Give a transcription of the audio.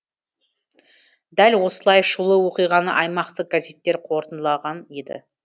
дәл осылай шулы оқиғаны аймақтық газеттер қорытындылаған еді